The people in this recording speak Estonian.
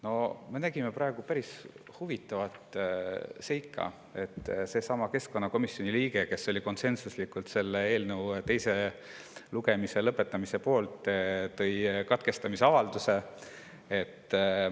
No me nägime praegu päris huvitavat seika: seesama keskkonnakomisjoni liige, kes oli konsensuslikult selle eelnõu teise lugemise lõpetamise poolt, tõi katkestamise avalduse.